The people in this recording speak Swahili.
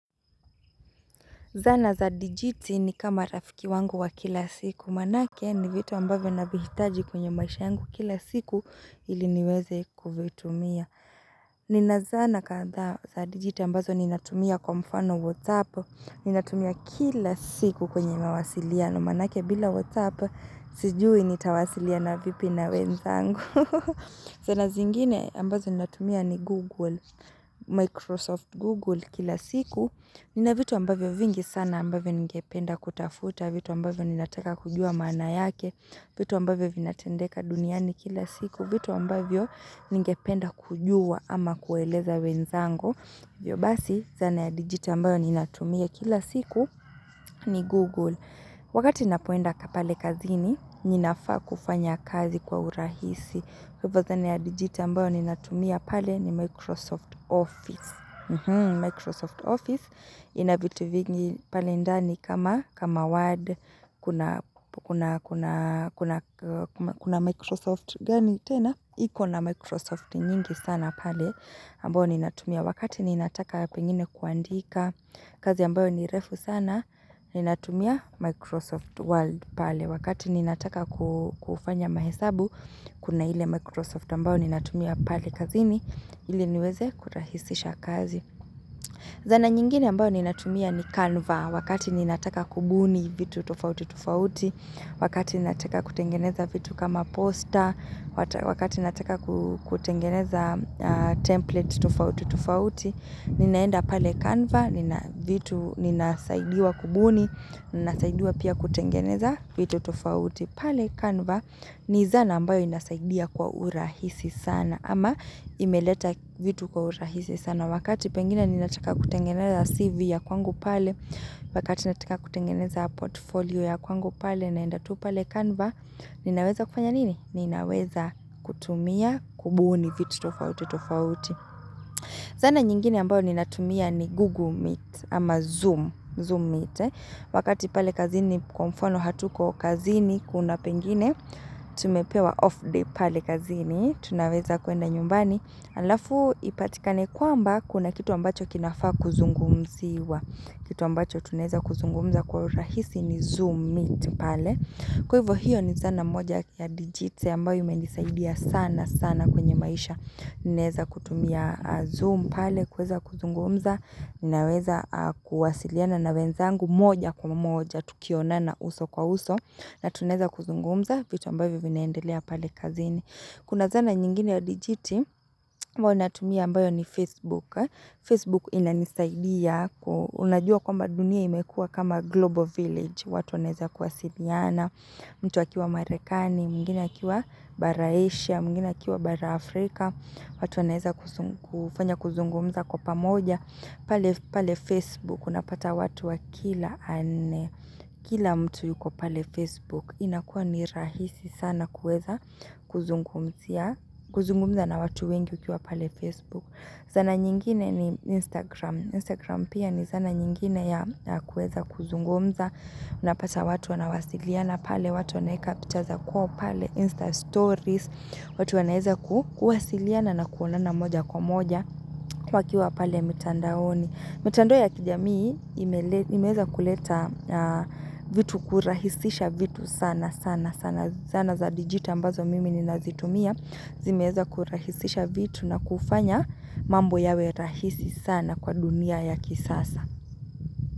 Zana za digiti ni kama rafiki wangu wa kila siku. Maanake ni vitu ambavyo navihitaji kwenye maisha yangu kila siku ili niweze kuvitumia. Nina zana kadhaa za digiti ambazo ninatumia kwa mfano WhatsApp. Ninatumia kila siku kwenye mawasiliano. Maanake bila WhatsApp sijui nitawasiliana vipi na wenzangu. Zana zingine ambazo ni natumia ni Google, Microsoft Google kila siku. Nina vitu ambavyo vingi sana ambavyo ningependa kutafuta, vitu ambavyo ninataka kujua maana yake, vitu ambavyo vinatendeka duniani kila siku, vitu ambavyo ningependa kujua ama kueleza wenzangu. Hivyo basi zana ya digital ambayo ninatumia kila siku ni Google. Wakati napoenda pale kazini, ninafaa kufanya kazi kwa urahisi. Kwa hivyo zana ya digiti ambayo ninatumia pale ni Microsoft Office Microsoft Office ina vitu vingi pale ndani kama Word Kuna Microsoft gani tena iko na Microsoft nyingi sana pale ambayo ni natumia Wakati ni nataka pengine kuandika kazi ambayo ni refu sana ni natumia Microsoft Word pale Wakati ninataka kufanya mahesabu Kuna ile Microsoft ambao ninatumia pale kazini, ili niweze kurahisisha kazi. Zana nyingine ambao ninatumia ni Canva, wakati ninataka kubuni vitu tofautitofauti, wakati ninataka kutengeneza vitu kama poster, wakati ninataka kutengeneza template tofautitofauti, ninaenda pale Canva, vitu ninasaidiwa kubuni, ninasaidiwa pia kutengeneza vitu tofauti. Pale Canva ni zana ambayo inasaidia kwa urahisi sana ama imeleta vitu kwa urahisi sana wakati pengine ninataka kutengeneza CV ya kwangu pale wakati nataka kutengeneza portfolio ya kwangu pale naenda tu pale Canva ninaweza kufanya nini? Ninaweza kutumia kubuni vitu tofautitofauti zana nyingine ambayo ninatumia ni Google Meet ama Zoom Meet wakati pale kazini kwa mfano hatuko kazini Kuna pengine, tumepewa off day pale kazini Tunaweza kuenda nyumbani Alafu ipatikane kwamba kuna kitu ambacho kinafaa kuzungumziwa Kitu ambacho tunaeza kuzungumza kwa urahisi ni zoom meet pale. Kwa hivyo hiyo ni zana moja ya digiti ambayo imenisaidia sana sana kwenye maisha naweza kutumia zoom pale kuweza kuzungumza, ninaweza kuwasiliana na wenzangu moja kwa moja tukionana uso kwa uso na tunaeza kuzungumza vitu ambavyo vinaendelea pale kazini. Kuna zana nyingine ya dijiti ambayo ninatumia ambayo ni Facebook. Facebook inanisaidia unajua kwamba dunia imekua kama Global Village. Watu wanaeza kuwasiliana, mtu akiwa Marekani, mwingine akiwa bara Asia, mwingine akiwa bara Afrika. Watu wanaeza kufanya kuzungumza kwa pamoja. Pale Facebook, unapata watu wa kila mtu yuko pale Facebook inakuwa ni rahisi sana kuweza kuzungumza na watu wengi ukiwa pale Facebook Zana nyingine ni Instagram Instagram pia ni zana nyingine ya kueza kuzungumza Unapata watu wanawasiliana pale, watu wanaeka picha za kwao pale Insta stories, watu wanaeza kuwasiliana na kuonana moja kwa moja wakiwa pale mitandaoni. Mitandao ya kijamii imeweza kuleta vitu kurahisisha vitu sana sana sana zana za dijiti ambazo mimi ninazitumia zimeweza kurahisisha vitu na kufanya mambo yawe rahisi sana kwa dunia ya kisasa.